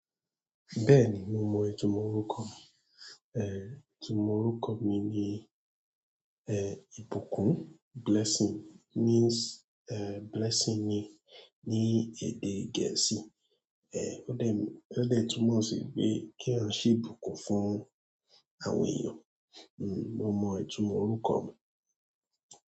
Bẹ́ẹ̀ni mo mọ ìtumọ̀ orúkọ mi. Itumọ̀ orúkọ mi ni ìbùkún. Blessing means, blessing ni ní èdè Gẹ̀ẹ́sì. Ó de túnmọ̀, ó de túmọ̀ sì pé kí eeyan se ibùkún fún àwọn èèyàn. Mo mọ ìtumọ̀ orúkọ mi.